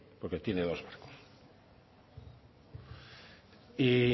porque tiene dos barcos y